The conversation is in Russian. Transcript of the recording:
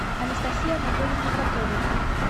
анастасии анатольевне поповой